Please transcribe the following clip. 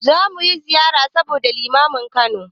Za mu ziyarci sabon Limamin Kano.